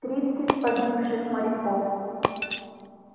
тридцать погибших моряков